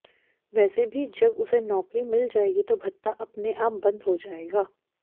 वैसे भी जब उसे नौकरी मिल जाएगी तो भत्ता अपने आप बंद हो जाएगा